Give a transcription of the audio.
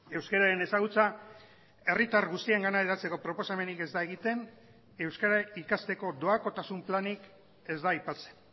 euskararen ezagutza herritar guztiengana hedatzeko proposamenik ez da egiten euskara ikasteko doakotasun planik ez da aipatzen